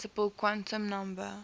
principal quantum number